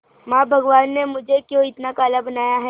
मां भगवान ने मुझे क्यों इतना काला बनाया है